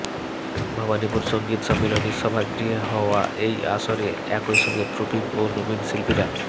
ভবানীপুর সঙ্গীত সম্মিলনী সভাগৃহে হওয়া এই আসরে একই সঙ্গে প্রবীণ ও নবীন শিল্পীরা